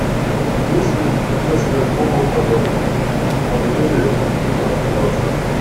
есть ли детская комната в отеле гранд плаза